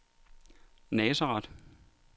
Nazareth